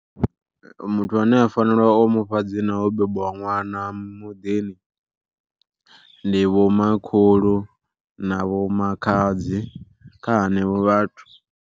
Muthu ane a fanela u mufha dzina ho bebwa ṅwana muḓini ndi vho makhulu na vho makhadzi kha henevho vhathu.